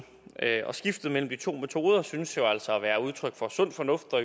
og skiftet mellem de to metoder synes jo altså at være udtryk for sund fornuft og